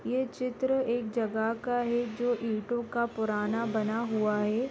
यह चित्र एक जगह का है जो ईंटों का पुराना बना हुआ है।